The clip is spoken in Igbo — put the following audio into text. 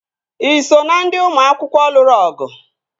Ị so na ndị ụmụ akwụkwọ lụrụ ọgụ?